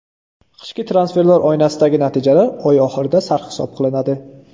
Qishki transferlar oynasidagi natijalar oy oxirida sarhisob qilinadi.